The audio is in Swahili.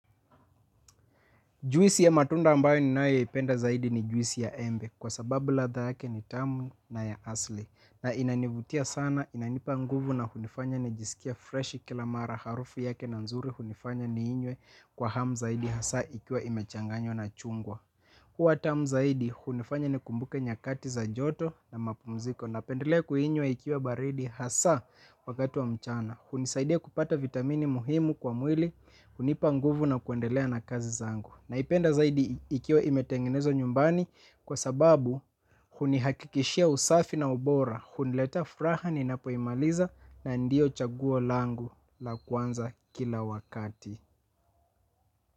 Juisi ya matunda ambayo ninayoipenda zaidi ni juisi ya embe kwa sababu ladha yake ni tamu na ya asli na inanivutia sana inanipa nguvu na kunifanya nijisikie fresh kila mara harufu yake na nzuri hunifanya niinywe kwa hamu zaidi hasa ikiwa imechanganyo na chungwa. Huwa tamu zaidi hunifanya nikumbuke nyakati za joto na mapumziko napendelea kuinywa ikiwa baridi hasa wakati wa mchana. Hunisaidia kupata vitamini muhimu kwa mwili hunipa nguvu na kuendelea na kazi zangu. Naipenda zaidi ikiwa imetengenezwa nyumbani kwa sababu hunihakikishia usafi na ubora, huniletea furaha ninapoimaliza na ndio chaguo langu la kwanza kila wakati.